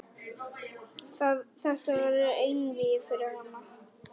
Þetta verður einvígi fyrir hana.